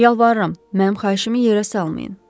Yalvarıram, mənim xahişimi yerə salmayın.